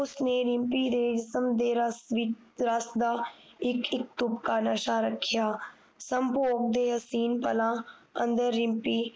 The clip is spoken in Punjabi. ਨੇ ਰਿਮਪੀ ਦੇ ਦਾ ਇਕ ਇਕ ਤੁਕ ਦਾ ਨਸ਼ਾ ਰੱਖਿਆ ਸੰਭੋਗ ਦੇ ਅਸੀਮ ਪਲਾਂ ਅੰਦਰ ਰਿਮਪੀ